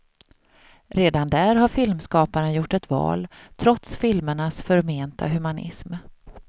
Redan där har filmskaparen gjort ett val, trots filmernas förmenta humanism.